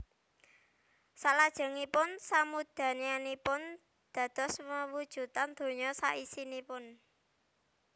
Salajengipun samudayanipun dados wewujudan donya saisinipun